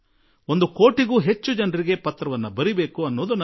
ಒಂದು ಕೋಟಿಗೂ ಹೆಚ್ಚು ಜನರಿಗೆ ಪತ್ರ ಬರೆಯುವ ಪ್ರಯತ್ನ ನನ್ನದು